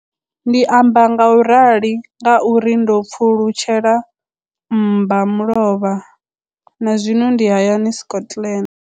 Ndi amba ngauralo nga uri ndo pfulutshela mmba mulovha na zwino ndi hayani, Scotland.